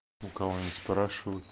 у кого ни спрошу